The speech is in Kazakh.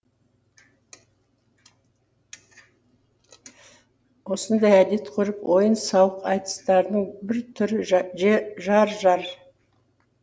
осындай әдет ғұрып ойын сауық айтыстарының бір түрі жар жар